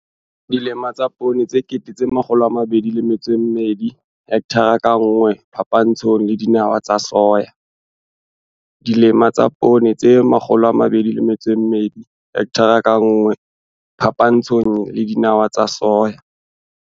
Photo 4. Dimela tsa poone tse 22 000 hekthara ka nngwe phapantshong le dinawa tsa soya.